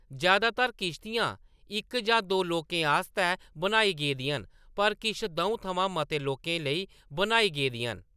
ज्यादातर किश्तियां इक जां दो लोकें आस्तै बनाई गेदियां न, पर किश द'ऊं थमां मते लोकें लेई बनाई गेदियां न।